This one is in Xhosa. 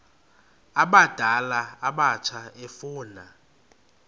abadala abatsha efuna